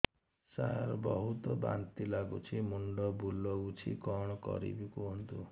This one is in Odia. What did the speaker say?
ସାର ବହୁତ ବାନ୍ତି ଲାଗୁଛି ମୁଣ୍ଡ ବୁଲୋଉଛି କଣ କରିବି କୁହନ୍ତୁ